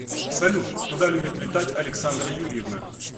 салют куда любит летать александра юрьевна